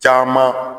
Caman